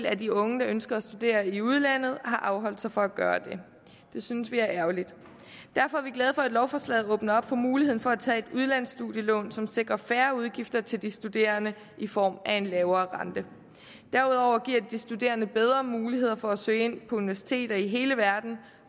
af de unge der ønsker at studere i udlandet har afholdt sig fra at gøre det det synes vi er ærgerligt derfor er vi glade for at lovforslaget åbner op for muligheden for at tage et udlandsstudielån som sikrer færre udgifter til de studerende i form af en lavere rente derudover giver det de studerende bedre muligheder for at søge ind på universiteter i hele verden